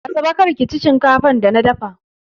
Asabe, kar da ki ci shinkafar da na dafa!